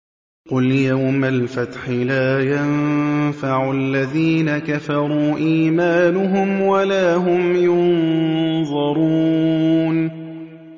قُلْ يَوْمَ الْفَتْحِ لَا يَنفَعُ الَّذِينَ كَفَرُوا إِيمَانُهُمْ وَلَا هُمْ يُنظَرُونَ